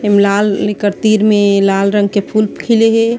लाल एकर तीर में लाल रंग के फूल खिले हे।